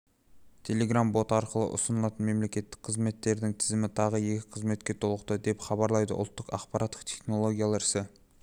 телеграмм-боты арқылы ұсынылатын мемлекеттік қызметтердің тізімі тағы екі қызметке толықты деп хабарлайды ұлттық ақпараттық технологиялар іске